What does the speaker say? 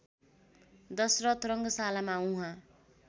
दशरथ रङशालामा उहाँ